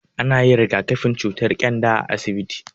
Ana yin rigakafin cutar ƙyanda a asibiti.